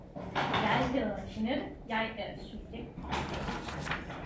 Jeg hedder Jeanette jeg er subjekt B